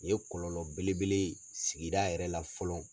U ye kɔlɔlɔ bele bele ye sigida yɛrɛ la fɔlɔ.